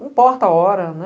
Não importa a hora, né?